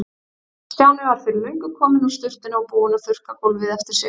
Stjáni var fyrir löngu kominn úr sturtunni og búinn að þurrka gólfið eftir sig.